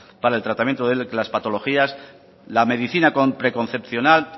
para el tratamiento de las patologías la medicina preconcepcional